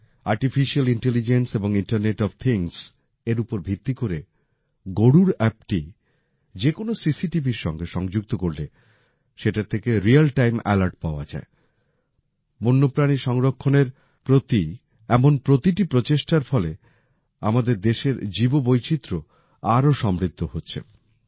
Artificial intelligence এবং internet of things এর উপর ভিত্তি করে গরুড় অ্যাপটি যেকোনো সিসিটিভির সাথে সংযুক্ত করলে সেটার থেকে রিয়েল টাইম অ্যালার্ট পাওয়া যায়। বন্যপ্রাণী সংরক্ষণের প্রতি এমন প্রতিটি প্রচেষ্টার ফলে আমাদের দেশের জীববৈচিত্র্য আরও সমৃদ্ধ হচ্ছে